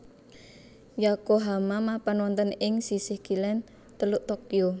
Yokohama mapan wonten ing sisih kilèn Teluk Tokyo